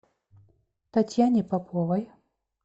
татьяне поповой